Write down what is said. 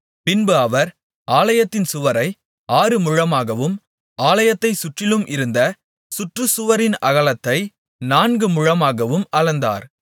பின்பு அவர் ஆலயத்தின் சுவரை ஆறு முழமாகவும் ஆலயத்தைச் சுற்றிலும் இருந்த சுற்றுசுவரின் அகலத்தை நான்குமுழமாகவும் அளந்தார்